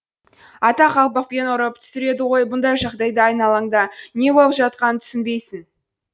атақ қалпақпен ұрып түсіреді ғой бұндай жағдайда айналаңда не болып жатқанын түсінбейсің